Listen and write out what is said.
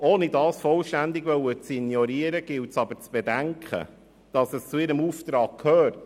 Ohne dies vollständig ignorieren zu wollen, gilt es jedoch zu bedenken, dass es zu ihrem Auftrag gehört.